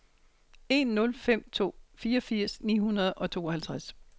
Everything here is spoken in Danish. en nul fem to fireogfirs ni hundrede og tooghalvtreds